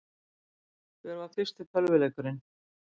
Hver var fyrsti tölvuleikurinn?